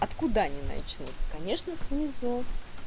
откуда они начнут конечно с низов